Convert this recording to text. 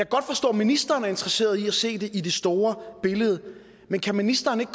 godt forstå at ministeren er interesseret i at se det i det store billede men kan ministeren ikke